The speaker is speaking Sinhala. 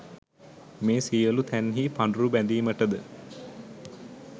මේ සියලු තැන්හි පඬුරු බැඳීමටද